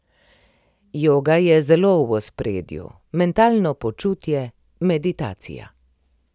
Joga je zelo v ospredju, mentalno počutje, meditacija ...